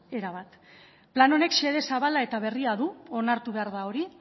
erabat plan honek xede zabala eta berria du onartu behar da hori